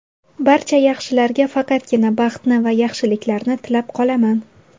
Barcha yaxshilarga faqatgina baxtni va yaxshiliklarni tilab qolaman!